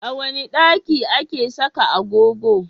A wane daki ake saka agogo?